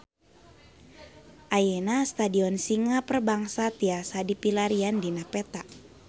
Ayeuna Stadion Singa Perbangsa tiasa dipilarian dina peta